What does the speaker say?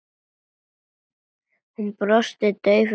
Hún brosti daufu brosi.